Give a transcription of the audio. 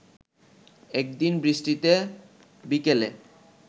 একদিন বৃষ্টিতে বিকেলে